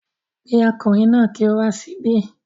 Pe ọkùnrin náà ki o wá síbí